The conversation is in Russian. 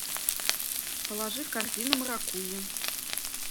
положи в корзину маракуйя